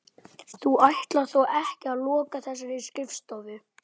Þú ætlar þó ekki að loka þessari skrifstofu?